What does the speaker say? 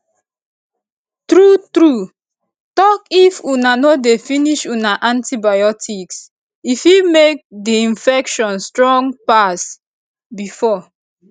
true true talkif una no dey finish una antibiotics e fit make the infection strong pass before